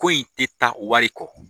Ko in tɛ taa wari kɔ.